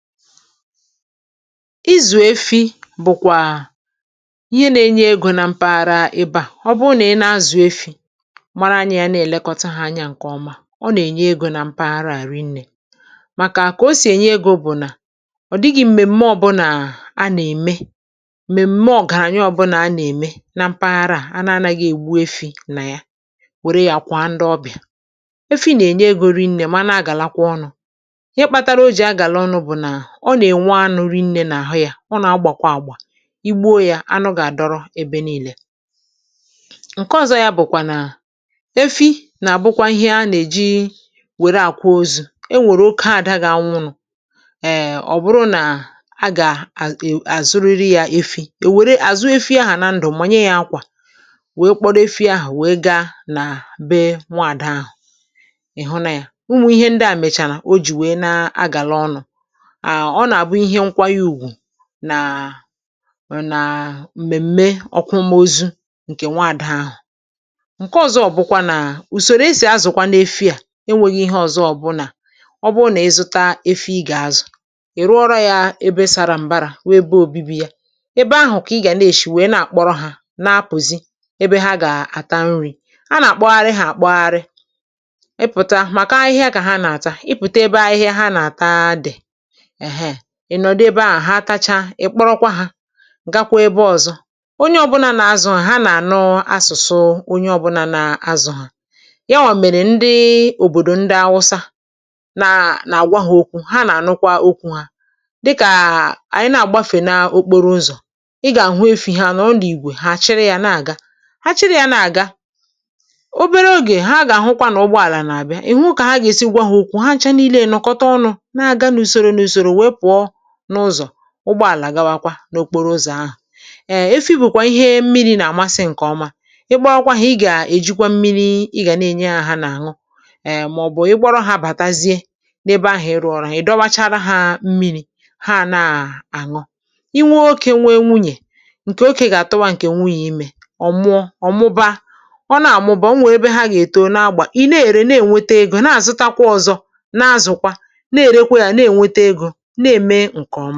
Ị̀zụ̀ éfí bụ̀kwà ị̀hè nà-ènyè ègò nà mpàghàrà èbè à. Ọ̀ bụ̀ nà ị̀ nà-àzụ̀ èfí màrà ànyị̀à nà-élèkọ̀tà hà ànyà ǹkè ọ́má ọ̀ nà-ènye ègò nà mpàghàrà à rìnné, màkà kà ò sì ènyè ègò bụ̀ nà ọ̀ dị̀ghị̀ m̀mèmè ọ̀bụnà à nà-èmè, m̀mèmè ọ̀gàrànyà ọ̀bụnà ànà-èmè nà mpàghàrà à ànà nàghị̀ị̀ ègbù éfị́ nà yà wèrè yà kwàà ndị̀ ọ̀bị̀à. Éfị́ nà-ènyè ègò rìnné mà nà-àgàlàkwà ọ̀nụ̀. Ị̀hè kpátàrà òjì àgàlà ọ̀nụ̀ bụ̀nà ọ̀ nà-ènwè anụ̀ rìnné nà àhụ̀ yá, ọ nà-agbàkwá àgbà, ìgbuò yà ànụ̀ gà-àdọ̀rọ̀ èbè nììè. Nké ọ̀zọ̀ọ̀ yà bụ̀kwà nàà éfí nà-àbụ̀kwà ị̀hè a nà-èjìì wèrè àkwòzuù, è nwèrè òké àdà gà nwụ̀nụ̀ um ọ̀ bụ̀rụ̀ nà hà gà à è àzụ̀rị́rị́ yȧ efi, è wère àzụ̀ọ̀ éfí à nà ndụ̀ mànyè yà àkwà wèè kpọ́rọ́ éfí àhụ̀ wèè gáá nà bèè nwààdà àhụ̀ ị̀ hụ̀nị̀à, ụ́mụ̀ ìhè ndị́ à mèchàrà ò jì wèè na-agàlà ọ̀nụ̀ um ọ̀nà-àbụ̀ íhè nkwànyèùgwù nàà um nàà m̀mèm̀me ọ̀kwụ̀mòzù ǹkè nwààdà àhụ̀. Nkè ọ̀zọ̀ bụ̀kwà nà ùsòrò èsì azụ̀kwànụ̀ éfí à ènwèghí ìhè ọ̀zọ̀ ọ̀bụ̀nà, ọ̀ bụ̀ nà ị̀zụ̀tà éfí ị̀ gà-àzụ̀, ì rụ̀ọ̀rọ̀ yà èbè sàrà m̀bàrà wụ̀ èbè òbìbì yà, èbè àhụ̀ kà ị́ gà nà-èshì wèè nà-àkpọ̀rọ̀ hà nà-àpụ̀zị̀ èbè hà gà-àtà nri. À nà-àkpọ̀ghàrị̀ ha àkpọ̀ghàrị̀ ị̀pụ̀tà màkà àhị̀hị̀à kà hà nà-àtà, ị̀ pụ̀tà èbè àhị̀hị̀à hà nàà-àtà dị̀ um ị̀nọ̀dì èbè hụ̀ hà táchá ị̀kpọ̀rọ̀kwà hà gàkwà èbè ọ̀zọ̀. Ònyé ọ̀bụ̀nà nà àzụ̀ hà ànà-ànụ̀ àsụ̀sụ̀ụ̀ ònyé ọ̀bụ̀nà nà azụ̀ hà, yà wà mèrè ndị́ị́ òbòdò ndà àwụ̀sà nà nà-àgwà hà òkwù hà nà-ànụ̀kwà òkwù hà dị́kà ànyị̀ nà-àgbàfè n’òkpòrò ụ̀zọ̀, ị́gà-àhụ̀ éfí hà nọ̀ n’ìgwè hà àchỊ̀rị̀ à na-àga. Hà chị̀rị̀ à nà-àgà òbèrè ògè hà gà-àhụ̀kwà nà ụ̀gbọ̀àlà nà-àbị̀à ị̀ hụ̀ kà hà gà-èsì gwà hà òkwù, hànchà nììlè nọ̀kọ̀tà ọ̀nụ̀ n’àgà n’ùsòrò wèè pụ̀ọ̀ n’ụ̀zọ̀, ụ̀gbọ̀àlà gàwàkwà n’òkpòrò ụ̀zọ̀ àhụ̀. um Éfí bụ̀kwà íhè mmìrì nà-àmàsị̀ ǹkè ọ̀má, ị́kpọàkwà hà ị́ gà-èjìkwà mmìrìì ị́ gà nà-ènyè hà hà nà-àṅụ̀ um màọ̀bụ̀ ị̀kpọ̀rọ̀ hà bàtàziè n’èbè àhụ̀ ị́rụ̀ọ̀ ọ̀rọ̀ ha, ị̀ dọ̀wàchárá hàà mmìrì hà nàà-àṅụ̀. Ị̀ nwèè óké nwèè nwùnyè, ǹkè óké gà-àtụ̀wà ǹkè nwùnyè ìmè, ọ̀ mụ̀ọ̀ ọ̀ mụ̀bàà, ọ̀ nà-àmụ̀bà ọ̀ nwè ebe ha gà-ètò nà-àgbà ị̀ nà-èrè n-ènwètè ègò nà-àzụ̀tàkwà ọ̀zọ̀ na-ázụ́kwà nà-èrèkwè yà nà-ènwètè ègò n’èmèè ǹkè ọ̀.